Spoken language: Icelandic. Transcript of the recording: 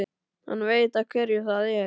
Hann veit af hverju það er.